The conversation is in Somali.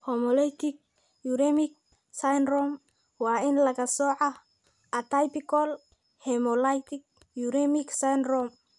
Hemolytic uremic syndrome waa in laga soocaa atypical hemolytic uremic syndrome (aHUS).